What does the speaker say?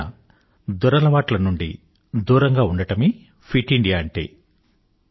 పైన చెప్పిన దురలవాట్ల నుండి దూరంగా ఉండటమే ఫిట్ ఇండియా అంటే